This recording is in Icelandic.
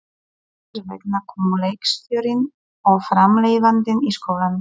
Þess vegna komu leikstjórinn og framleiðandinn í skólann.